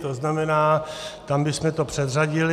To znamená, tam bychom to předřadili.